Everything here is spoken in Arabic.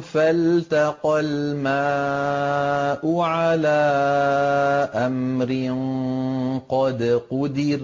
فَالْتَقَى الْمَاءُ عَلَىٰ أَمْرٍ قَدْ قُدِرَ